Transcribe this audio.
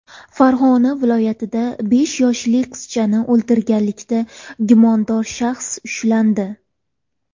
Farg‘ona viloyatida besh yoshli qizchani o‘ldirganlikda gumondor shaxs ushlandi.